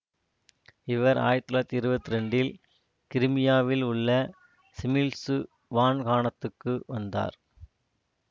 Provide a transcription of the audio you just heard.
இவர் ஆயிரத்தி தொள்ளாயிரத்தி இருபத்தி இரண்டில் கிரீமியாவில் உள்ள சிமீழ்சு வான்காணத்துக்கு வந்தார்